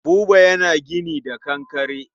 Buba yana gini da kankare.